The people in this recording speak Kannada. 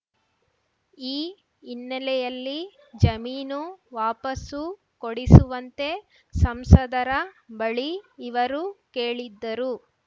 ಈ ಹಿನ್ನೆಲೆಯಲ್ಲಿ ಜಮೀನು ವಾಪಸ್ಸು ಕೊಡಿಸುವಂತೆ ಸಂಸದರ ಬಳಿ ಇವರು ಕೇಳಿದ್ದರು